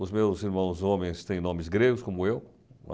Os meus irmãos homens têm nomes gregos, como eu.